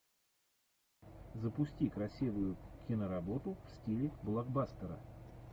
запусти красивую киноработу в стиле блокбастера